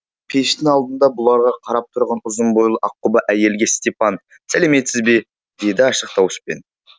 пештің алдында бұларға қарап тұрған ұзын бойлы аққұба әйелге степан сәлеметсіз бе деді ашық дауыспен